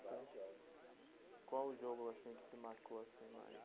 Qual o jogo assim que te marcou assim, mais?